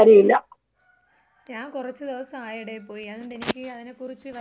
ഞാൻ കൊറച്ച് ദിവസായെടെ പോയി അതുകൊണ്ടെനിക്ക് അതിനെക്കുറിച്ച് വലുതായിട്ട് അറിഞ്ഞൂടായിരുന്ന്.